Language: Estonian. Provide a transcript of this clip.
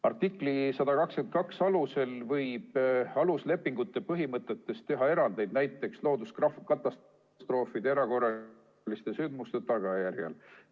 Artikli 122 alusel võib aluslepingute põhimõtetes teha erandeid, näiteks looduskatastroofide ja muude erakorraliste sündmuste tagajärjel.